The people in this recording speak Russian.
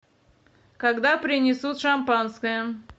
когда принесут шампанское